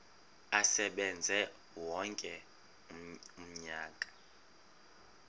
asebenze wonke umnyaka